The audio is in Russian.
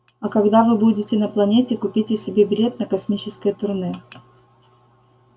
а когда вы будете на планете купите себе билет на космическое турне